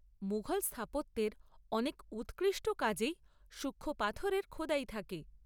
মুঘল স্থাপত্যের অনেক উৎকৃষ্ট কাজেই সূক্ষ্ম পাথরের খোদাই থাকে।